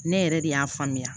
Ne yɛrɛ de y'a faamuya